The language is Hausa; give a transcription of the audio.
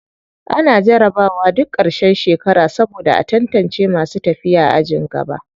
Ana jarabawa duk ƙarshen shekara saboda a tantace masu tafiya ajin gaba.